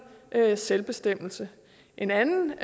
selvbestemmelse en anden